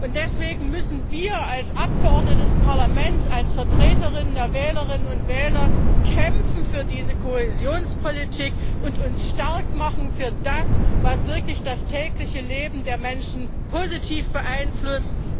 Und deswegen müssen wir als Abgeordnete des Parlaments, als Vertreter und Vertreterinnen der Wählerinnen und Wähler kämpfen für diese Kohäsionspolitik und uns stark machen für das, was wirklich das tägliche Leben der Menschen positiv beeinflusst.